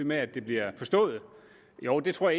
med at det bliver forstået jo det tror